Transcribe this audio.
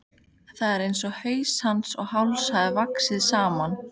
Það er einsog haus hans og háls hafi vaxið saman.